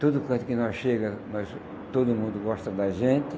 Todo canto que nós chega, mas todo mundo gosta da gente.